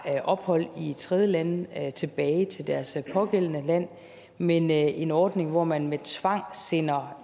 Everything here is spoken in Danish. ophold i tredjelande tilbage til deres pågældende land men en ordning hvor man med tvang sender